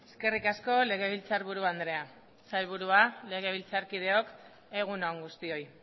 eskerrik asko legebiltzarburu andrea sailburua legebiltzarkideok egun on guztioi